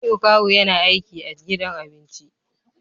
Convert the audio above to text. Jamiu kawu yana aiki a gidan abinci